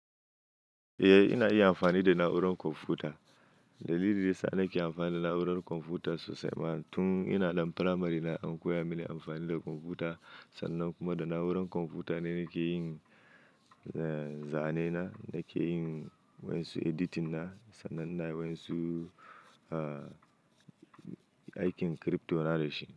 Eh, ina iya amfani da na'urar kwamfuta. Dalilin da ya sa na ke amfani da na'urar kwamfuta sosai, ma tun ina ɗan firamare na an koya mini amfani da kwamfuta, Sannan kuma da na'urar kwamfuta ne nake yin, eh zane na, nake yin waƴansu editing na, sannan ina waƴansu, aikin crypto na da shi.